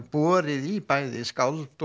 borið í bæði skáld